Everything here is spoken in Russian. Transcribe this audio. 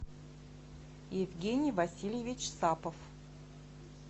евгений васильевич сапов